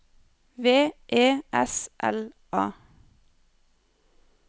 V E S L A